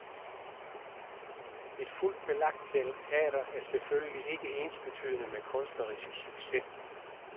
Et fuldt belagt teater er selvfølgelig ikke ensbetydende med kunstnerisk succes.